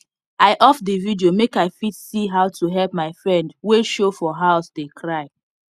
i off the video make i fit see how to help my friend wey show for house dey cry